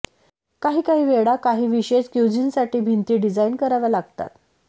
काही काही वेळा काही विशेष क्युझिनसाठी भिंती डिझाईन कराव्या लागतात